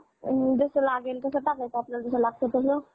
अ जसं लागेल तसं टाकायचं आपल्याला जसं लागतंय तसं